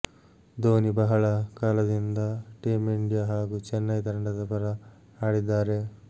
ಧೋನಿ ಬಹಳ ಕಾಲದಿಂದ team India ಹಾಗೂ ಚೆನ್ನೈ ತಂಡದ ಪರ ಆಡಿದ್ದಾರೆ